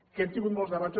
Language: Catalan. que hem tingut molts debats